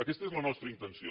aquesta és la nostra intenció